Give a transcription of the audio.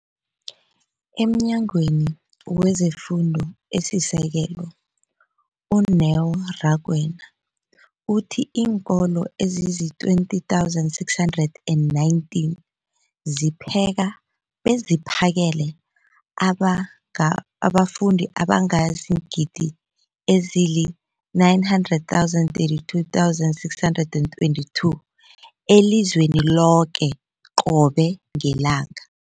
EmNyangweni wezeFundo esiSekelo, u-Neo Rakwena, uthe iinkolo ezizi-20 619 zipheka beziphakele abafundi abangaba ziingidi ezili-9 032 622 elizweni loke qobe ngelanga.